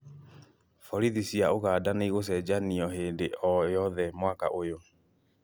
Borithi cia Ũganda nĩ igũcenjanio hĩndĩ o yothe mwaka ũyũ